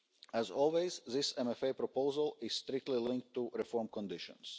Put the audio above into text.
As always, this MFA proposal is strictly linked to reform conditions.